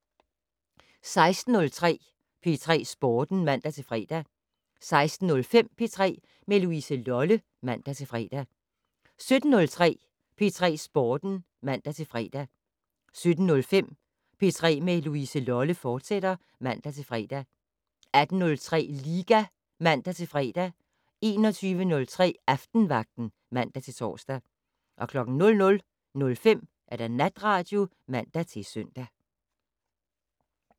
16:03: P3 Sporten (man-fre) 16:05: P3 med Louise Lolle (man-fre) 17:03: P3 Sporten (man-fre) 17:05: P3 med Louise Lolle, fortsat (man-fre) 18:03: Liga (man-fre) 21:03: Aftenvagten (man-tor) 00:05: Natradio (man-søn)